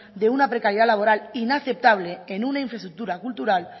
de una precariedad laboral inaceptable en una infraestructura cultural